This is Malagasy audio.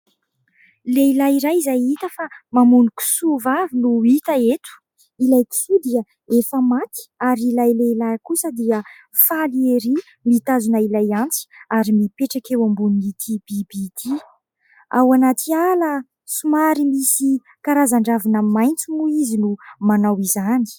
Lehilahy iray izay hita fa mamono kisoa vavy no hita eto. Ilay kisoa dia efa maty ary ilay lehilahy kosa dia faly ery mitazona ilay antsy ary mipetraka eo ambonin'ity biby ity. Ao anaty ala somary misy karazan-dravina maitso moa izy no manao izany.